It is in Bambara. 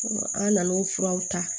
An nan'o furaw ta